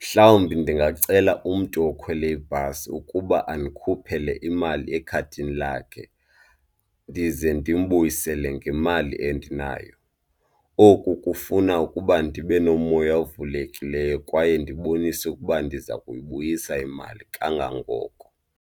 Mhlawumbi ndingacela umntu okhwele ibhasi ukuba andikhuphele imali ekhadini lakhe ndize ndimbuyisele ngemali endinayo. Oku kufuna ukuba ndibe nomoya ovulekileyo kwaye ndibonise ukuba ndiza kuyibuyisa imali kangangoko.